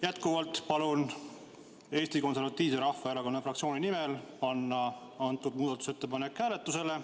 Jätkuvalt palun Eesti Konservatiivse Rahvaerakonna fraktsiooni nimel panna see muudatusettepanek hääletusele.